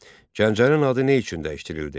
Gəncənin adı nə üçün dəyişdirildi?